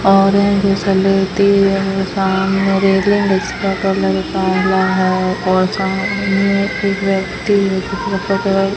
और जैसा लेती हुई है सामने रेलिंग इसका कलर काला है और सामने एक व्यक्ति भी है जिसका कलर --